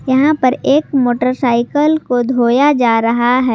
यहां पर एक मोटरसाइकल को धोया जा रहा है।